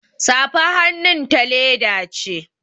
Safar hannun ta leda ce